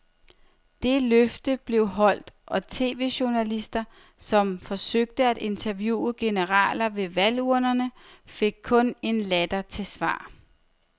Det løfte blev holdt, og tv-journalister, som forsøgte at interviewe generaler ved valgurnerne, fik kun en latter til svar.